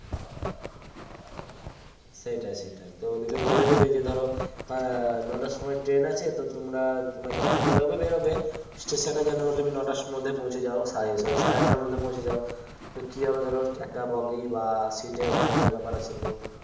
সেটাই সেটাই তো ওদিকে বলে দেবে যে ধরো নটার সময় Train আছে তো তোমরা যখন বেরোবে বেরোবে Station এ যেন তুমি নটার সময়তে পৌঁছে যাও Sorry সাড়ে আটটার মধ্যে পৌঁছে যাও তো কিভাবে ধরো একটা বগি বা Seat এ খোঁজার ব্যাপার আছে তো